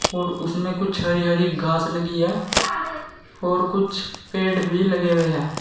और उसमें कुछ हरी हरी घास लगीं है और कुछ पेड़ भी लगे हुए हैं।